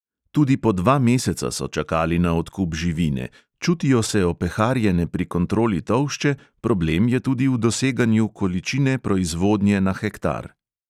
Tudi po dva meseca so čakali na odkup živine, čutijo se opeharjene pri kontroli tolšče, problem je tudi v doseganju količine proizvodnje na hektar.